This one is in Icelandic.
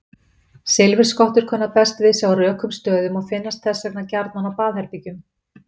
Silfurskottur kunna best við sig á rökum stöðum og finnast þess vegna gjarnan á baðherbergjum.